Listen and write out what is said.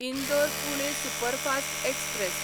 Indore Pune superfast express